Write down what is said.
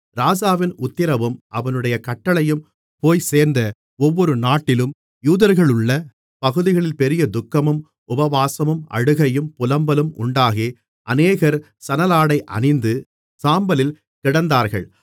ராஜாவின் உத்திரவும் அவனுடைய கட்டளையும் போய்ச்சேர்ந்த ஒவ்வொரு நாட்டிலும் யூதர்களுள்ள பகுதிகளில் பெரிய துக்கமும் உபவாசமும் அழுகையும் புலம்பலும் உண்டாகி அநேகர் சணலாடை அணிந்து சாம்பலில் கிடந்தார்கள்